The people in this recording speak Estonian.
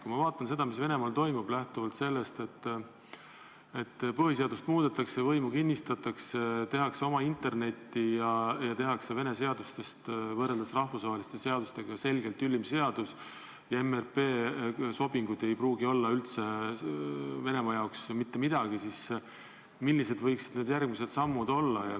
Kui ma vaatan seda, mis Venemaal toimub – põhiseadust muudetakse, võimu kinnistatakse, tehakse oma internetti ja tehakse Vene seadustest võrreldes rahvusvaheliste seadustega selgelt ülemad seadused ja MRP sobingud ei ole Venemaa jaoks ehk mitte midagi –, siis tekib küsimus, millised võiksid järgmised sammud olla.